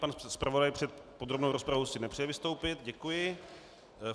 Pan zpravodaj před podrobnou rozpravou si nepřeje vystoupit, děkuji.